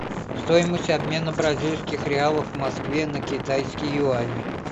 стоимость обмена бразильских реалов в москве на китайские юани